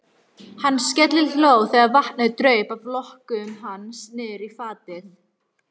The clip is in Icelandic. Hann skellihló þegar vatnið draup af lokkum hans niðrí fatið.